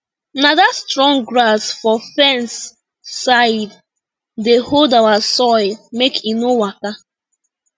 na dat strong grass for fence side dey hold our soil make e no waka